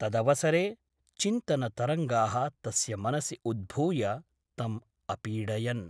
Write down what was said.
तदवसरे चिन्तनतरङ्गाः तस्य मनसि उद्भूय तम् अपीडयन् ।